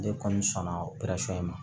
Ne kɔni sɔnna ma